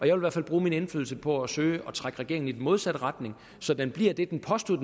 i hvert fald bruge min indflydelse på at søge at trække regeringen i den modsatte retning så den bliver det den påstod